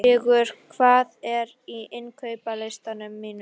Sigur, hvað er á innkaupalistanum mínum?